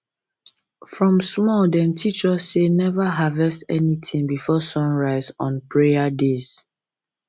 from small dem teach us say never harvest anything before sun rise on prayer days